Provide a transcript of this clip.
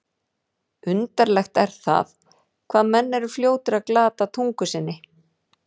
Undarlegt er það, hvað menn eru fljótir að glata tungu sinni.